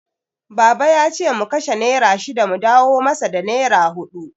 Baba yace mu kashe nera shida mu dawo masa da nera huɗu.